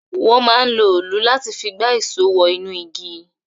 Wọ́n máa ń lo olù láti fi gba ìṣó wọ inú igi